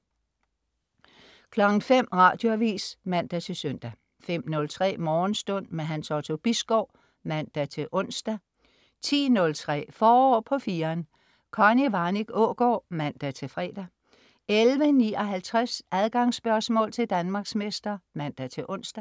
05.00 Radioavis (man-søn) 05.03 Morgenstund. Hans Otto Bisgaard (man-ons) 10.03 Forår på 4'eren. Connie Warnich Aagaard (man-fre) 11.59 Adgangsspørgsmål til Danmarksmester (man-ons)